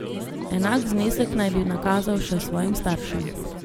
Enak znesek naj bi nakazal še svojim staršem.